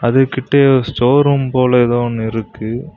அது கிட்டயு store room போல ஏதோ ஒன்னு இருக்கு.